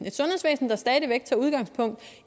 et sundhedsvæsen der stadig væk tager udgangspunkt